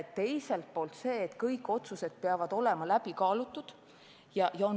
Ka on selge, et kõik otsused peavad olema läbi kaalutud.